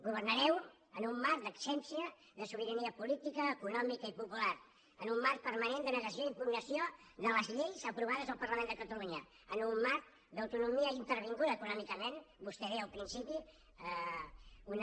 governareu en un marc d’absència de sobirania política econòmica i popular en un marc permanent de negació i impugnació de les lleis aprovades al parlament de catalunya en un marc d’autonomia intervinguda econòmicament vostè deia al principi eh